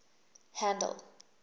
handle